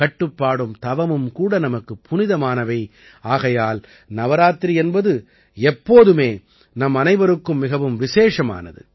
கட்டுப்பாடும் தவமும் கூட நமக்குப் புனிதமானவை ஆகையால் நவராத்திரி என்பது எப்போதுமே நம்மனைவருக்கும் மிகவும் விசேஷமானது